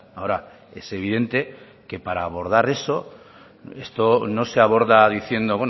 ahora es evidente que para abordar eso esto no se aborda diciendo